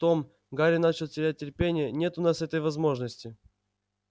том гарри начал терять терпение нет у нас этой возможности